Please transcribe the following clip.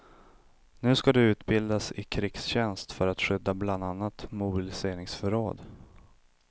Nu ska de utbildas i krigstjänst för att skydda bland annat mobiliseringsförråd.